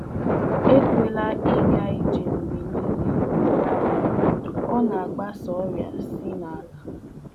Agakarikwala ije n'alaubi dị mmiri mmiri, um ọ na-eme ka um ọrià na-esi n'aja na-efesa. um